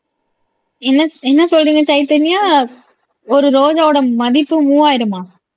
என்ன என்ன சொல்றீங்க சைதன்யா ஒரு ரோஜாவோட மதிப்பு மூவாயிரமா